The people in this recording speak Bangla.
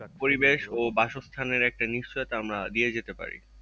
পরিবেশ ও বাসস্থানের একটা নিশ্চয়তা আমরা দিয়ে যেতে পারি।